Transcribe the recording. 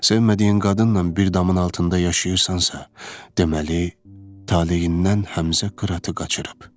Sevmədiyin qadınnan bir damın altında yaşayırsansa, deməli taleyindən Həmzə qıratı qaçırıb.